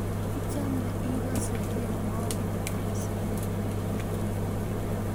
Ichame ikase tienwokik mising